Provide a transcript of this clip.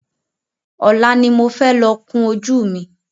Ọlá ni mo fẹ́ lọ kún ojú mi